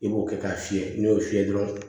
I b'o kɛ k'a fiyɛ n'i y'o fiyɛ dɔrɔn